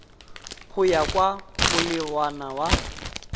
go ya ka molawana wa